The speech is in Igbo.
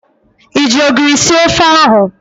Ị ji ogiri sie ofe ahụ?